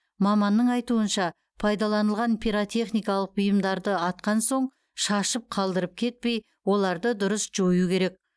маманның айтуынша пайдаланылған пиротехникалық бұйымдарды атқан соң шашып қалдырып кетпей оларды дұрыс жою керек